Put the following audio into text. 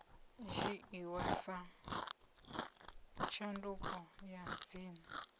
dzhiiwa sa tshanduko ya dzina